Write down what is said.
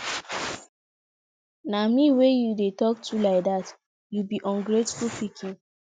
na me wey you dey talk to like dat you be ungrateful pikin